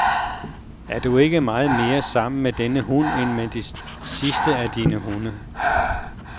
Er du ikke meget mere sammen med denne hund, end med de sidste af dine hunde?